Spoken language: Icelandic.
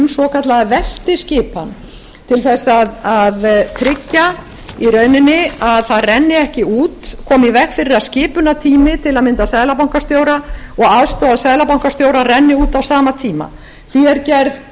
svokallaða veltiskipan til að tryggja í rauninni að það renni ekki út komi í veg fyrir að skipunartími til að mynda seðlabankastjóra og aðstoðarseðlabankastjóra renni út á sama tíma því er gerð tillaga